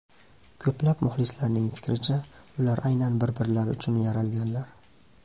Ko‘plab muxlislarning fikricha, ular aynan bir-birlari uchun yaralganlar.